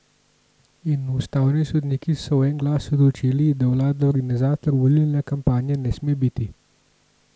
In ustavni sodniki so v en glas odločili, da vlada organizator volilne kampanje ne sme biti!